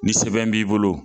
Ni sɛbɛn b'i bolo.